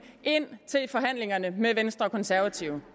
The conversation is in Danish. ind i forhandlingerne med venstre og konservative